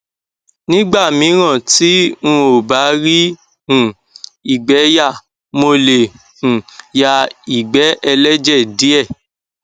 nígbà míràn tí n ò bá rí um ìgbé yà mo lè um ya ìgbẹ ẹlẹjẹ díẹ